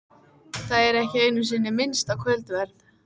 Það er ekki einu sinni minnst á kvöldverð.